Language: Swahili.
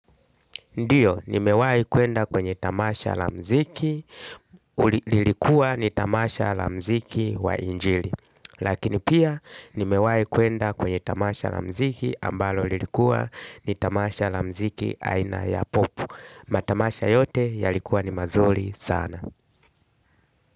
Ndiyo, nimewahi kwenda kwenye tamasha la muziki, lilikuwa ni tamasha la muziki wa injili. Lakini pia, nimewahi kwenda kwenye tamasha la muziki, ambalo lilikuwa ni tamasha la muziki aina ya popu. Matamasha yote, yalikuwa ni mazuri sana.